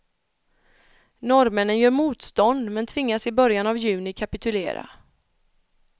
Norrmännen gör motstånd men tvingas i början av juni kapitulera.